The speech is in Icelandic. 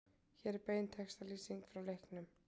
Hér er bein textalýsing frá leiknum